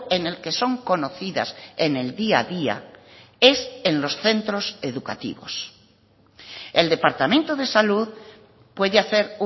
en el que son conocidas en el día a día es en los centros educativos el departamento de salud puede hacer